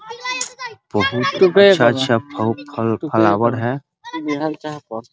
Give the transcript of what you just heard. बहुत ही अच्छा अच्छा फल फ्लावर है |